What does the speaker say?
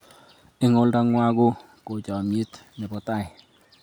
Eng' olda ngwai ko kochamiet nepo tai